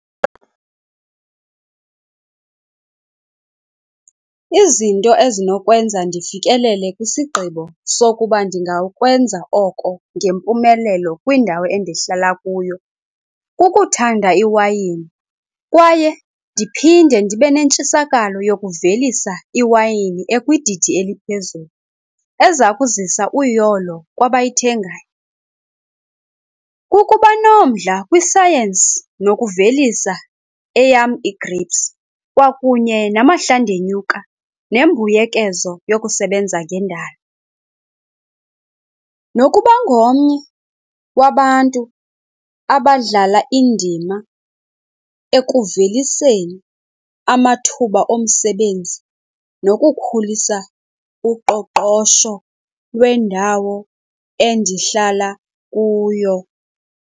Izinto ezinokwenza ndifikelele kwisigqibo sokuba ndingakwenza oko ngempumelelo kwindawo endihlala kuyo, kukuthanda iwayini kwaye ndiphinde ndibe nentshisakalo yokuvelisa iwayini ekwididi eliphezulu eza kuzisa uyolo kwabayithengayo. Kukuba nomdla kwisayensi nokuvelisa eyam i-grapes kwakunye namahlandenyuka nembuyekezo yokusebenza ngendalo. Nokuba ngomnye wabantu abadlala indima ekuveliseni amathuba omsebenzi nokukhulisa uqoqosho lwendawo endihlala kuyo.